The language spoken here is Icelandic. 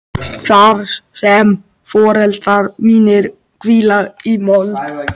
Þar sem foreldrar mínir hvíla í mold.